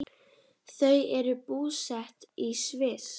Þau eru búsett í Sviss.